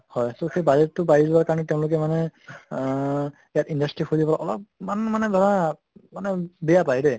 হয় so সেই budget টো বাঢ়ি যোৱাৰ কাৰণে তেওঁলোকে মানে আহ ইয়াত industry খুলিব অলপ্মান মানে ধৰা মানে বেয়া পায় দে